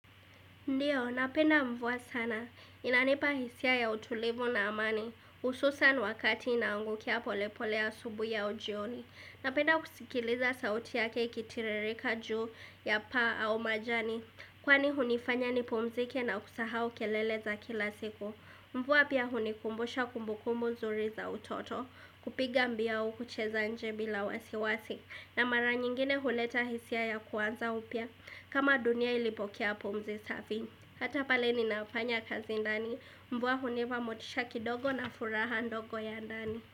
Ndiyo, napenda mvua sana. Inanipa hisia ya utulivu na amani. Hususan wakati inaangukia polepole asubuhi au jioni. Napenda kusikiliza sauti yake ikitiririka juu ya paa au majani. Kwani hunifanya nipumzike na kusahau kelele za kila siku Mvua pia hunikumbusha kumbukumbu nzuri za utoto kupiga mbiu au kucheza nje bila wasiwasi na mara nyingine huleta hisia ya kuanza upya kama dunia ilipokea pumzi safi Hata pale ninapanya kazi ndani Mvua hunipa motisha kidogo na furaha ndogo ya ndani.